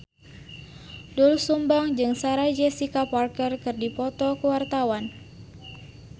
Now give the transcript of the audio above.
Doel Sumbang jeung Sarah Jessica Parker keur dipoto ku wartawan